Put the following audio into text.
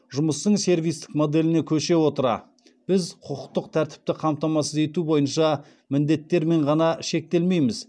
жұмыстың сервистік моделіне көше отыра біз құқықтық тәртіпті қамтамасыз ету бойынша міндеттермен ғана шектелмейміз